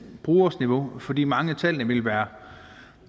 brugers niveau fordi mange af tallene ville være